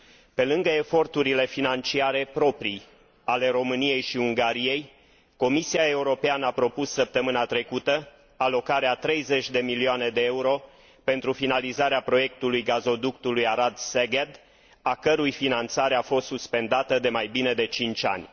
Pe lângă eforturile financiare proprii ale României și Ungariei, Comisia Europeană a propus săptămâna trecută alocarea a 30 de milioane de euro pentru finalizarea proiectului gazoductului Arad Szeget, a cărui finanțare a fost suspendată de mai bine de 5 ani.